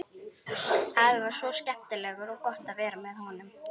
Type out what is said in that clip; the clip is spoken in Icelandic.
Afi var svo skemmtilegur og gott að vera með honum.